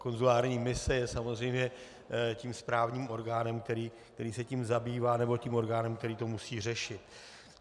konzulární mise je samozřejmě tím správním orgánem, který se tím zabývá, nebo tím orgánem, který to musí řešit.